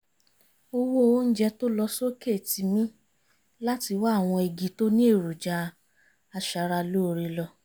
owó oúnjẹ tó lọ sókè tì mí láti wá àwọn igi tó ní èròjà aṣara lóore lọ